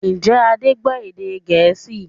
Ǹjẹ́ Adé gbọ́ èdè Gẹ̀ẹ́sì?